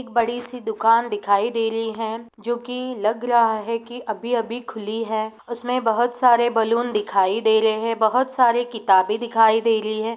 एक बड़ी सी दुकान दिखाई दे रही है जो की लग रहा है की अभी-अभी खुली है उसमे बहुत सारे बैलून दिखाई दे रहे है बहुत साली किताबे दिखाई दे रही है।